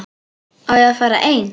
Á ég að fara einn?